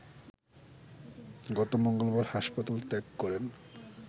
গত মঙ্গলবার হাসপাতাল ত্যাগ করেন